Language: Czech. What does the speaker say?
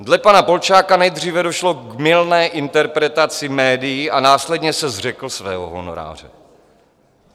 Dle pana Polčáka nejdříve došlo k mylné interpretaci médii a následně se zřekl svého honoráře.